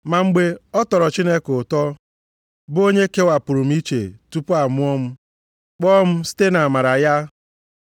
Ma mgbe ọ tọrọ Chineke ụtọ, bụ onye kewapụrụ m iche tupu amụọ m, kpọọ m site nʼamara ya,